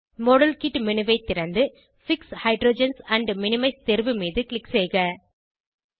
model kit menu ஐ திறந்து fix hydrogens and minimize தேர்வு மீது க்ளிக் செய்க